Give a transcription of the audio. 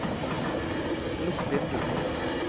lukk vindu